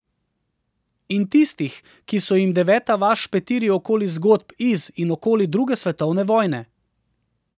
In tistih, ki so jim deveta vas špetiri okoli zgodb iz in okoli druge svetovne vojne.